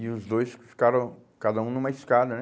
E os dois fi ficaram, cada um numa escada, né?